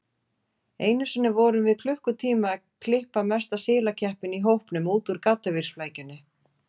Einu sinni vorum við klukkutíma að klippa mesta silakeppinn í hópnum út úr gaddavírsflækjunni.